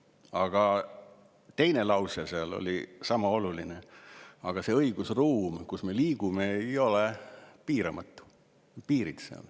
Aga teine lause oli sama oluline: ent see õigusruum, kus me liigume, ei ole piiramatu, sellel on piirid.